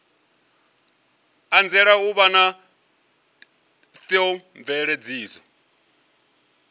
anzela u vha na theomveledziso